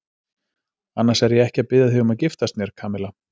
Annars er ég ekki að biðja þig um að giftast mér, Kamilla.